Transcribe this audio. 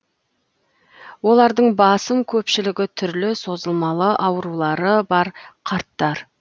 олардың басым көпшілігі түрлі созылмалы аурулары бар қарттар